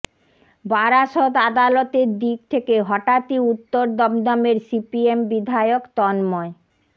বারাসত আদালতের দিক থেকে হঠাৎই উত্তর দমদমের সিপিএম বিধায়ক তন্ময়